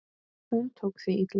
Hún tók því illa.